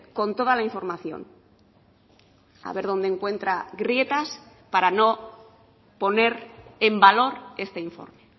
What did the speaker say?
con toda la información a ver dónde encuentra grietas para no poner en valor este informe